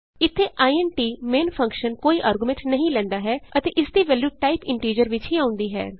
ਇਥੇ int main function ਕੋਈ argument ਨਹੀਂ ਲੈਂਦਾ ਹੈ ਅਤੇ ਇਸਦੀ ਵੈਲਯੂ ਟਾਈਪ ਇੰਟੀਜ਼ਰ ਵਿਚ ਹੀ ਆਉਂਦੀ ਹੈ